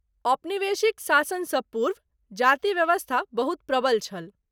औपनिवेशिक शासन सँ पुर्व , जाति व्यवस्था बहुत प्रबल छल ।